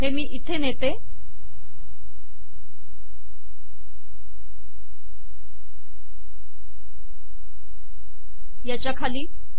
हे मी इथे नेते याच्या खाली